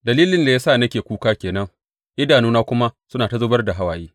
Dalilin da ya sa nake kuka ke nan idanuna kuma suna ta zubar da hawaye.